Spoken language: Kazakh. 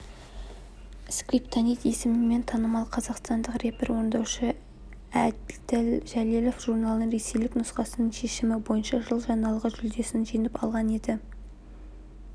скриптонит есімімен танымал қазақстандық рэп орындаушы әділ жәлелов журналының ресейлік нұсқасының шешімі бойынша жыл жаңалығы жүлдесін жеңіп алған еді